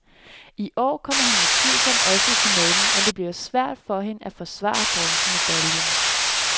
I år kommer hun utvivlsomt også i finalen, men det bliver svært for hende at forsvare bronzemedaljen.